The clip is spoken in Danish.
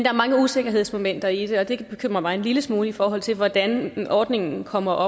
er mange usikkerhedsmomenter i det og det bekymrer mig en lille smule i forhold til hvordan ordningen kommer